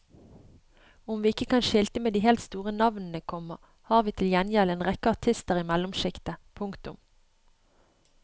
Om vi ikke kan skilte med de helt store navnene, komma har vi til gjengjeld en rekke artister i mellomskiktet. punktum